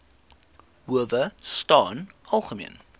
howe staan algemeen